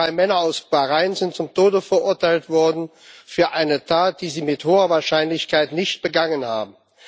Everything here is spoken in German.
Diese drei Männer aus Bahrain sind zum Tode verurteilt worden für eine Tat, die sie mit hoher Wahrscheinlichkeit nicht begangen haben.